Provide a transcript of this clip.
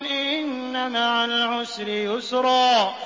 إِنَّ مَعَ الْعُسْرِ يُسْرًا